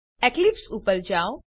Eclipse ઉપર જાઓ